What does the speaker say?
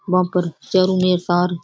बा पर चारमेंर तार --